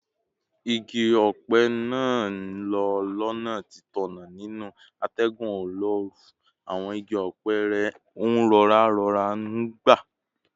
Igi ọ̀pẹ náà ń lọ́ lọ́nà títọ̀nà nínú atẹ́gùn olóoru, àwọn igi ọ̀pẹ rẹ̀ ń rọra rọra ń gbá